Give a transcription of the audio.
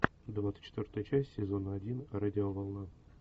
двадцать четвертая часть сезона один радиоволна